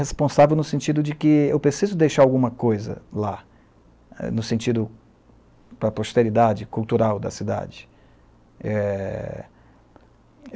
Responsável no sentido de que eu preciso deixar alguma coisa lá, no sentido para a posteridade cultural da cidade. É